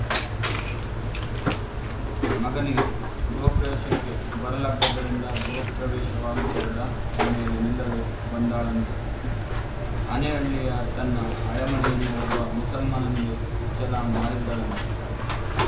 ಮಗನಿಗೆ ಗೃಹಪ್ರವೇಶಕ್ಕೆ ಬರಲಾಗದ್ದರಿಂದ ಗೃಹಪ್ರವೇಶವಾಗಿರುವುದ ಮನೆಯಲ್ಲೇ ನಿಲ್ಲಲು ಬಂದಾಳಂತೆ ಹನೇಹಳ್ಳಿಯ ತನ್ನ ಹಳೆಮನೆಯನ್ನು ಒಬ್ಬ ಮುಸಲ್ಮಾನನಿಗೆ ಛಲ ಮಾರಿದ್ದಾಳಂತೆ